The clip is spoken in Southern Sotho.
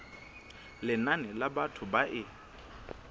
lenane la batho ba e